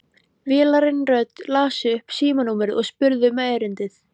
Vélræn rödd las upp símanúmerið og spurði um erindið.